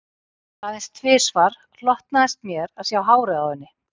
Aðeins tvisvar hlotnaðist mér að sjá hárið á henni